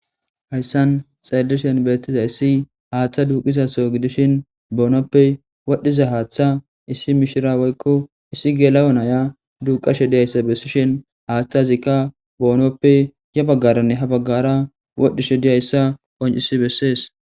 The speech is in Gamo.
Hayssan xaellishen beettiza issi haaththa duuqizaso gidishin boonoppe wodhiza haaththa issi mishira woykko issi geela'onaya duuqashe diyayssa bessishin haaththa zikka boonoppe ya baggaranne ha baggara wodhishe diyayssa qoncisi bessees.